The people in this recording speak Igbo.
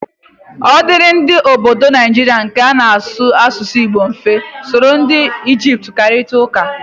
Ọ dịịrị ndị ọbọdọ Naijiria nke na-asụ asụsụ Igbo mfe iso ndị Ijipt kparịta ụka?